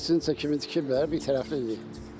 Qəstincə kimi tikiblər, birtərəfli deyil.